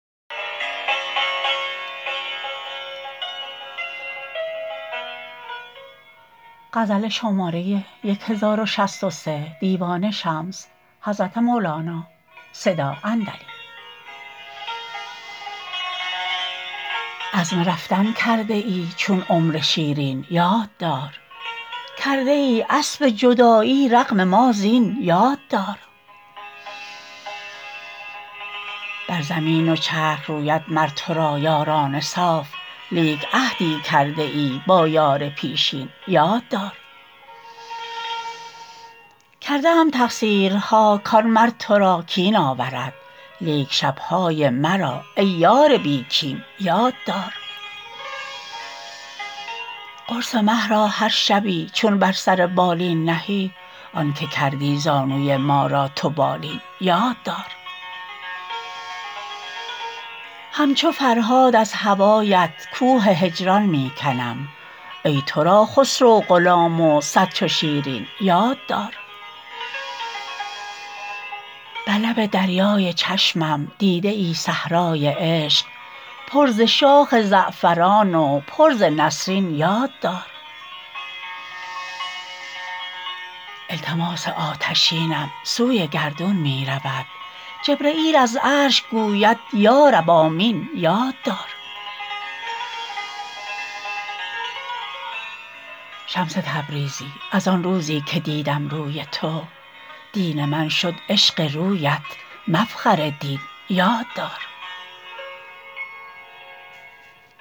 عزم رفتن کرده ای چون عمر شیرین یاد دار کرده ای اسب جدایی رغم ما زین یاد دار بر زمین و چرخ روید مر تو را یاران صاف لیک عهدی کرده ای با یار پیشین یاد دار کرده ام تقصیرها کان مر تو را کین آورد لیک شب های مرا ای یار بی کین یاد دار قرص مه را هر شبی چون بر سر بالین نهی آنک کردی زانوی ما را تو بالین یاد دار همچو فرهاد از هوایت کوه هجران می کنم ای تو را خسرو غلام و صد چو شیرین یاد دار بر لب دریای چشمم دیده ای صحرای عشق پر ز شاخ زعفران و پر ز نسرین یاد دار التماس آتشینم سوی گردون می رود جبرییل از عرش گوید یا رب آمین یاد دار شمس تبریزی از آن روزی که دیدم روی تو دین من شد عشق رویت مفخر دین یاد دار